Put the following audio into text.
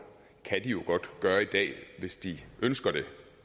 kan de jo gøre i dag hvis de ønsker det